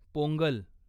Pongal